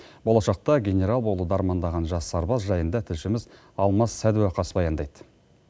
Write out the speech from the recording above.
болашақта генерал болуды армандаған жас сарбаз жайында тілшіміз алмас садуақас баяндайды